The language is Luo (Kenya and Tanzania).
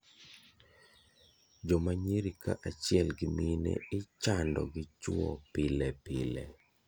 Joma nyiri ka achiel gi mine ichando gi chuo pile pile.